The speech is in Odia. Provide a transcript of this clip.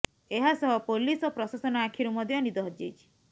ଏହାସହ ପୋଲିସ ଓ ପ୍ରଶାସନ ଆଖିରୁ ମଧ୍ୟ ନିଦ ହଜିଯାଇଛି